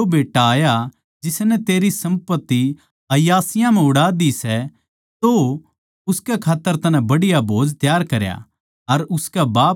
पर जिब तेरा यो बेट्टा आया जिसनै तेरी सम्पत्ति अयाशियाँ म्ह उड़ा दी सै तो उसकै खात्तर तन्नै बढ़िया भोज तैयार करया